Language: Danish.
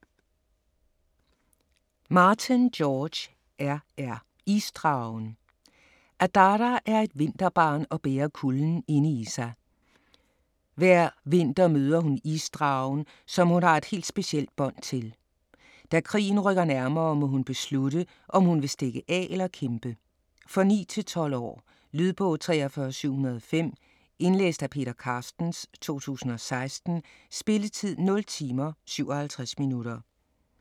Martin, George R. R.: Isdragen Adara er et vinterbarn og bærer kulden inde i sig. Hver vinter møder hun isdragen, som hun har et helt specielt bånd til. Da krigen rykker nærmere, må hun beslutte, om hun vil stikke af eller kæmpe. For 9-12 år. Lydbog 43705 Indlæst af Peter Carstens, 2016. Spilletid: 0 timer, 57 minutter.